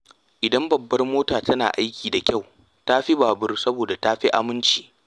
Idan babbar mota tana aiki da kyau, ta fi babur saboda ta fi aminci.